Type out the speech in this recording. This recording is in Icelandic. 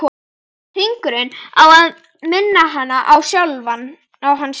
Hringurinn á að minna hana á hann sjálfan.